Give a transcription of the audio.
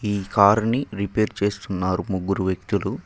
ఈ కార్ని రిపేర్ చేస్తున్నారు ముగ్గురు వ్యక్తులు.